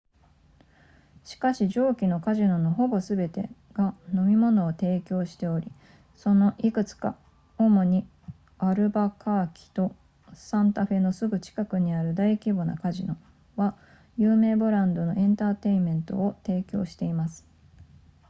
しかし上記のカジノのほぼすべてが飲み物を提供しておりそのいくつか主にアルバカーキとサンタフェのすぐ近くにある大規模なカジノは有名ブランドのエンターテイメントを提供しています